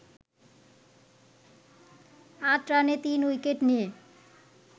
৮ রানে ৩ উইকেট নিয়ে